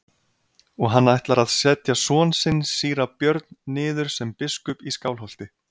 Og hann ætlar að setja son sinn síra Björn niður sem biskup í Skálholti.